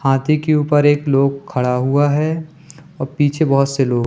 हाथी के ऊपर एक लोग खड़ा हुआ है और पीछे बहोत से लोग --